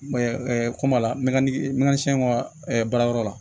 kɔmɔ la mɛ n ka siɲɛkɔrɔ baarayɔrɔ la